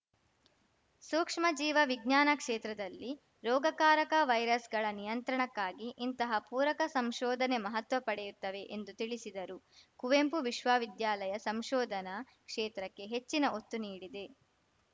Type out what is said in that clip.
ಸೂಕ್ಷ್ಮ ಜೀವ ವಿಜ್ಞಾನ ಕ್ಷೇತ್ರದಲ್ಲಿ ರೋಗಕಾರಕ ವೈರಸ್‌ಗಳ ನಿಯಂತ್ರಣಕ್ಕಾಗಿ ಇಂತಹ ಪೂರಕ ಸಂಶೋಧನೆ ಮಹತ್ವ ಪಡೆಯುತ್ತವೆ ಎಂದು ತಿಳಿಸಿದರು ಕುವೆಂಪು ವಿಶ್ವವಿದ್ಯಾಲಯ ಸಂಶೋಧನಾ ಕ್ಷೇತ್ರಕ್ಕೆ ಹೆಚ್ಚಿನ ಒತ್ತು ನೀಡಿದೆ